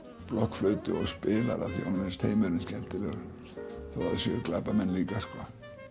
blokkflautu og spilar af því að honum finnst heimurinn skemmtilegur þótt það séu glæpamenn líka sko